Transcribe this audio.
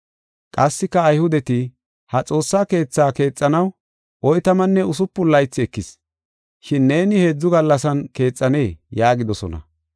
Qassika Ayhudeti, “Ha Xoossa Keetha keexanaw oytamanne usupun laythi ekis, shin neeni heedzu gallasan keexanee?” yaagidosona.